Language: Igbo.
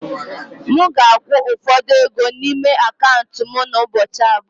M ga-akwụ ụfọdụ ego n'ime akaụntụ m n'ụbọchị abụọ.